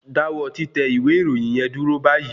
Dáwọ́ títẹ ìwé ìròyìn yẹn dúró báyìí